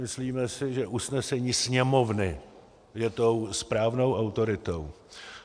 Myslíme si, že usnesení Sněmovny je tou správnou autoritou.